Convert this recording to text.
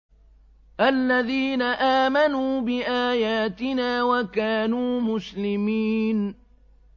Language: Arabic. الَّذِينَ آمَنُوا بِآيَاتِنَا وَكَانُوا مُسْلِمِينَ